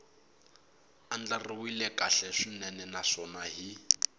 andlariwile kahle swinene naswona hi